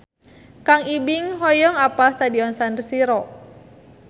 Kang Ibing hoyong apal Stadion San Siro